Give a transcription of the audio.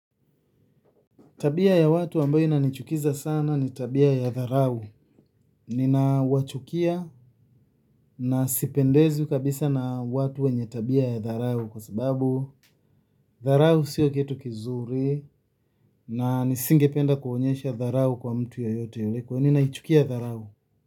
Tabia ya watu ambayo inanichukiza sana ni tabia ya dharau. Nina wachukia na sipendezwi kabisa na watu wenye tabia ya dharau kwa sababu dharau siyo kitu kizuri na nisingependa kuonyesha dharau kwa mtu yeyote kwa hivo ninaichukia dharau.